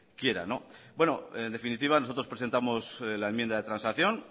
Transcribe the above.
quieran en definitiva nosotros presentamos la enmienda de transacción